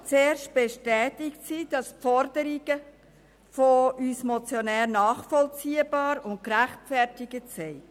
Zuerst bestätigt diese, dass die Forderungen von uns Motionären nachvollziehbar und gerechtfertigt seien.